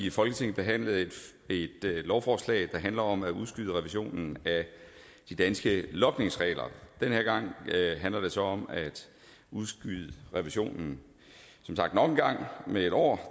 i folketinget behandle et lovforslag der handler om at udskyde revisionen af de danske logningsregler den her gang handler det så om at udskyde revisionen nok en gang med en år